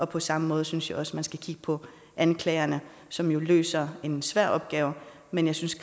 på samme måde synes jeg også man skal kigge på anklagerne som jo løser en svær opgave men jeg synes